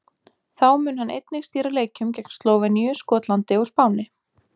Þá mun hann einnig stýra leikjum gegn Slóveníu, Skotlandi og Spáni.